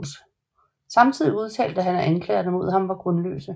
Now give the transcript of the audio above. Samtidig udtalte han at anklagerne mod ham var grundløse